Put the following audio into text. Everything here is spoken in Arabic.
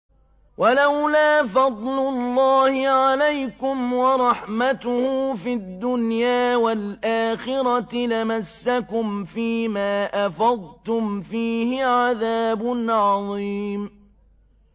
وَلَوْلَا فَضْلُ اللَّهِ عَلَيْكُمْ وَرَحْمَتُهُ فِي الدُّنْيَا وَالْآخِرَةِ لَمَسَّكُمْ فِي مَا أَفَضْتُمْ فِيهِ عَذَابٌ عَظِيمٌ